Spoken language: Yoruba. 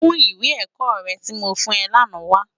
Mú iwé èkò rè ti mó sòfún è làná wá